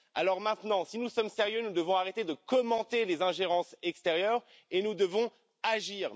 Alors, si nous sommes sérieux, nous devons arrêter de commenter les ingérences extérieures et nous devons agir.